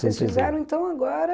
Vocês fizeram, então, agora...